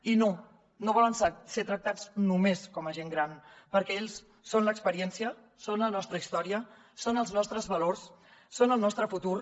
i no no volen ser tractats només com a gent gran perquè ells són l’experiència són la nostra història són els nostres valors són el nostre futur